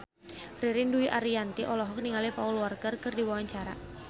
Ririn Dwi Ariyanti olohok ningali Paul Walker keur diwawancara